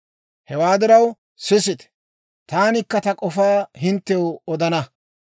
Hewaa diraw, sisite; taanikka ta k'ofaa hinttew odana.